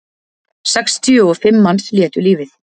Sextíu og fimm manns létu lífið